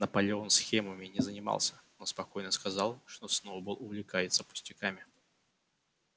наполеон схемами не занимался но спокойно сказал что сноуболл увлекается пустяками